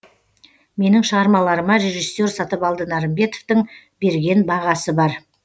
менің шығармаларыма режиссер сатыбалды нарымбетовтың берген бағасы бар